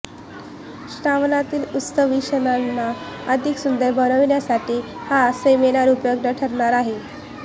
श्रावणातील उत्सवी क्षणांना अधिक सुंदर बनविण्यासाठी हा सेमिनार उपयुक्त ठरणार आहे